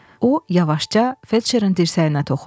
O yavaşca felçerin dirsəyinə toxundu.